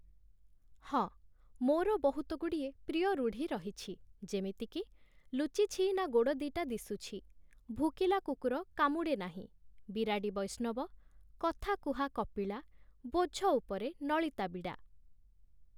ହଁ ମୋର ବହୁତଗୁଡ଼ିଏ ପ୍ରିୟ ରୁଢ଼ି ରହିଛି ଯେମିତିକି "ଲୁଚିଛି ନା ଗୋଡ଼ ଦି ଟା ଦିଶୁଛି", "ଭୁକିଲା କୁକୁର କାମୁଡ଼େ ନାହିଁ", "ବିରାଡ଼ି ବୈଷ୍ଣବ", "କଥାକୁହା କପିଳା", "ବୋଝ ଉପରେ ନଳିତା ବିଡ଼ା" ।